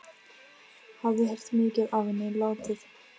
Hafði heyrt mikið af henni látið.